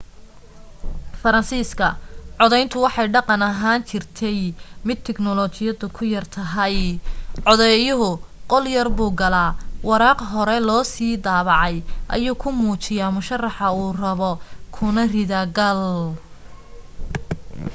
faransiiska codayntu waxay dhaqan ahaan ahaan jirtay mid tiknoolajiyadu ku yar tahay codeeyuhu qolyar buu galaa waraaq hore loo sii daabacay ayuu ku muujiyaa musharaxa uu rabo kuna ridaa gal